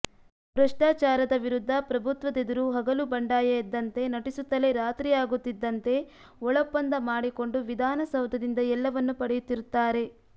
ಭ್ರಷ್ಟಾಚಾರದ ವಿರುದ್ಧ ಪ್ರಭುತ್ವದೆದುರು ಹಗಲು ಬಂಡಾಯ ಎದ್ದಂತೆ ನಟಿಸುತ್ತಲೇ ರಾತ್ರಿಯಾಗುತ್ತಿದ್ದಂತೆ ಒಳೊಪ್ಪಂದ ಮಾಡಿಕೊಂಡು ವಿಧಾನಸೌಧದಿಂದ ಎಲ್ಲವನ್ನೂ ಪಡೆಯುತ್ತಿರುತ್ತಾರೆ